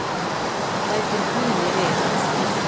Bætir Guðni við.